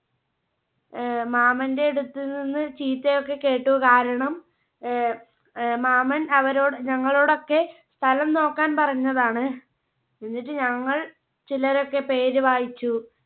ആഹ് മാമന്റെ അടുത്തു നിന്ന് ചീത്തയൊക്കെ കേട്ടു കാരണം ആഹ് ആഹ് മാമൻ അവരോട് ഞങ്ങളോടൊക്കെ സ്ഥലം നോക്കാൻ പറഞ്ഞതാണ് എന്നിട്ട് ഞങ്ങൾ ചിലരൊക്കെ പേര് വായിച്ചു